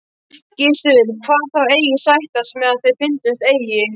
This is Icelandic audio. Gissur kvað þá eigi sættast mega ef þeir fyndist eigi.